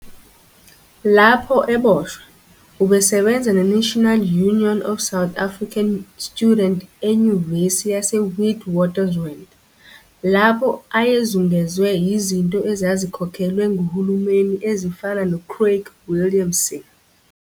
Lapho eboshwa, ubesebenza neNational Union of South African Student eNyuvesi yaseWitwatersrand, lapho ayezungezwe yizinto ezazikhokhelwa nguhulumeni ezifana noCraig Williamson